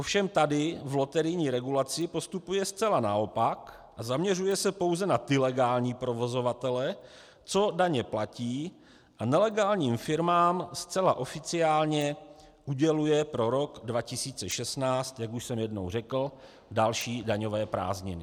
Ovšem tady v loterijní regulaci postupuje zcela naopak a zaměřuje se pouze na ty legální provozovatele, co daně platí, a nelegálním firmám zcela oficiálně uděluje pro rok 2016, jak už jsem jednou řekl, další daňové prázdniny.